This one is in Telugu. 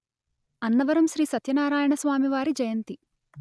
అన్నవరం శ్రీ సత్యనారాయణ స్వామివారి జయంతి